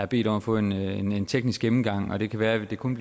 bedt om at få en en teknisk gennemgang og det kan være at det kun